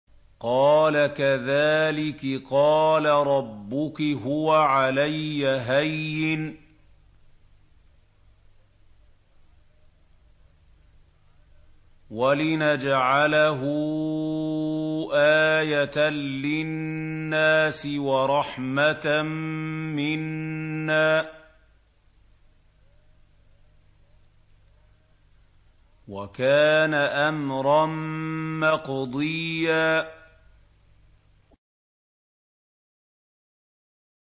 قَالَ كَذَٰلِكِ قَالَ رَبُّكِ هُوَ عَلَيَّ هَيِّنٌ ۖ وَلِنَجْعَلَهُ آيَةً لِّلنَّاسِ وَرَحْمَةً مِّنَّا ۚ وَكَانَ أَمْرًا مَّقْضِيًّا